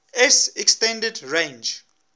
s extended range